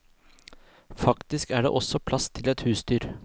Faktisk er det også plass til et husdyr.